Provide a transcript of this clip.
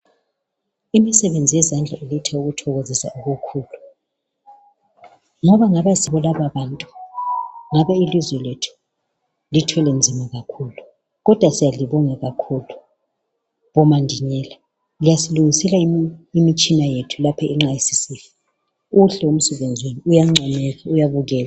Imisebenzi yezandla iletha ukuthokozisa okukhulu ngabe asibo laba ngabe ilizwe lethu lithwele nzima kakhulukodwa siyalibonga kakhulu bomanjinela liyasilungisela imitshina yethu lapho nxa isisifa, muhle umsebenzi wenu uyancomeka uyabukeka.